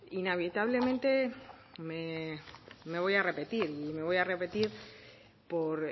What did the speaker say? inevitablemente me voy a repetir y me voy a repetir por